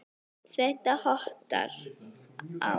Allt þetta hottar á.